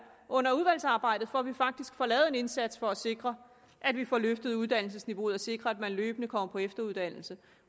under udvalgsarbejdet for at vi faktisk får lavet en indsats for at sikre at vi får løftet uddannelsesniveauet og sikre at man løbende kommer på efteruddannelse